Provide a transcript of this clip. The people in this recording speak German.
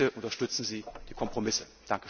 wird. Bitte unterstützen Sie die Kompromisse!